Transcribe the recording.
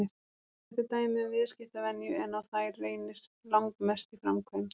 Þetta er dæmi um viðskiptavenju en á þær reynir langmest í framkvæmd.